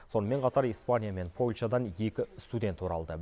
сонымен қатар испания мен польшадан екі студент оралды